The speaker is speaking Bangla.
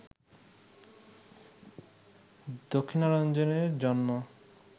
দক্ষিণারঞ্জনের জন্ম